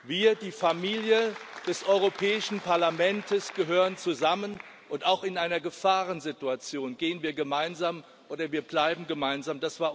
Wir, die Familie des Europäischen Parlaments, gehören zusammen, und auch in einer Gefahrensituation gehen wir gemeinsam, oder wir bleiben gemeinsam.